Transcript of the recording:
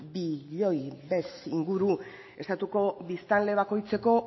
bez inguru estatuko biztanle bakoitzeko